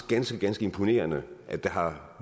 ganske ganske imponerende at der har